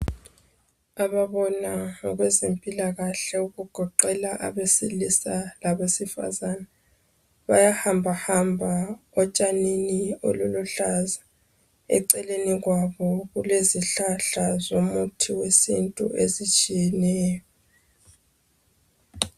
Ababona ngokwezempilakahle okugoqela abesilisa labesifazana. Bayahambahamba etshanini obuluhlaza. Eceleni kwabo kulezihlahla zomuthi wesintu ezitshiyeneyo.